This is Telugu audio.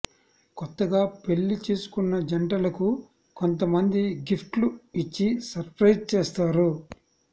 కొత్తగా పెళ్లి చేసుకున్న జంటలకు కొంత మంది గిఫ్ట్లు ఇచ్చి సర్ప్రైజ్ చేస్తారు